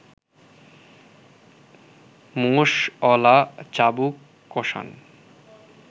মোষঅলা চাবুক কষান